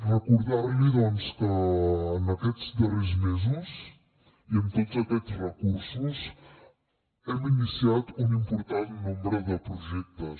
recordar li doncs que en aquests darrers mesos i amb tots aquests recursos hem iniciat un important nombre de projectes